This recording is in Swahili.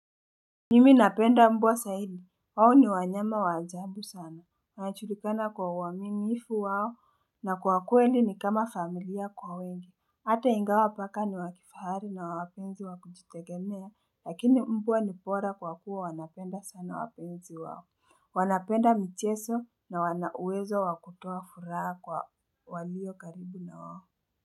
Mimi napenda mbwa zaidi, wao ni wanyama wa ajabu sana, wanajulikana kwa uwaminifu wao, na kwa kweli ni kama familia kwa wengi, ata ingawa paka ni wakifahari na wapenzi wakujitegemea, lakini mbwa ni bora kwa kuwa wanapenda sana wapenzi wao, wanapenda mchezo na wana uwezo wa kutoa furaha kwa walio karibu na wao.